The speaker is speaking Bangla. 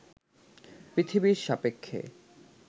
পৃথিবীর সাপেক্ষে